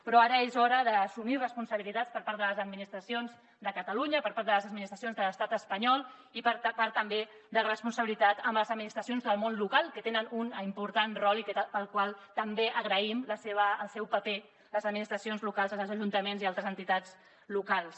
però ara és hora d’assumir responsabilitats per part de les administracions de catalunya per part de les administracions de l’estat espanyol i per part també de la responsabilitat amb les administracions del món local que tenen un important rol i a les que també agraïm el seu paper el de les administracions locals els ajuntaments i altres entitats locals